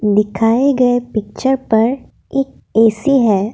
दिखाए गए पिक्चर पर एक ए_सी है।